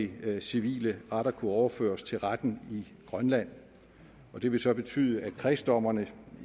vil civile retter kunne overføres til retten i grønland det vil så betyde at kredsdommerne